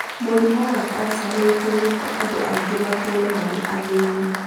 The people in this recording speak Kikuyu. Mũrimũ wa kansa nĩ ũtũmĩte andũ aingĩ matũũre marĩ athĩni